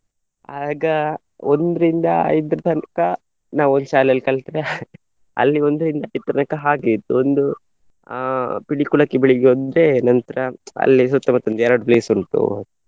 ಆಗ ಒಂದ್ರಿಂದ ಐದರ ತನಕ ನಾವು ಇಲ್ಲಿ ಶಾಲೆಯಲ್ಲಿ ಕಲ್ತ್ರೆ ಅಲ್ಲಿ ಒಂದರಿಂದ ಐದರ ತನಕ ತನಕ ಹಾಗೆ ಇತ್ತು ಒಂದು ಅಹ್ ಪಿಲಿಕುಳಕ್ಕೆ ಬೆಳಿಗ್ಗೆ ಅಂದ್ರೆ ನಂತ್ರ ಅಲ್ಲಿ ಸುತ್ತ ಮುತ್ತ ಒಂದು ಎರಡು place ಉಂಟು.